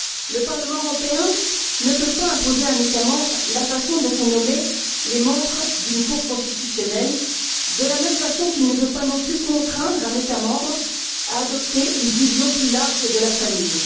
Le Parlement européen ne peut pas imposer à un État membre la façon dont sont nommés les membres d'une Cour constitutionnelle, de la même façon qu'il ne peut pas non plus contraindre un État membre à adopter une vision plus large de la famille.